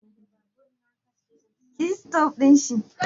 za ki iya taimaka min ki kawo min waya?